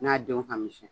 N'a denw ka misɛn